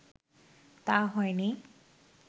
তা হয়নি